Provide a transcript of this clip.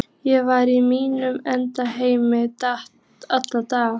Ég var í mínum eigin heimi allan daginn.